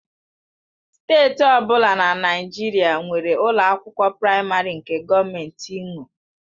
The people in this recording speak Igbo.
Steeti ọ bụla na Naịjirịa nwere ụlọ akwụkwọ praịmarị nke gọọmentị nwe.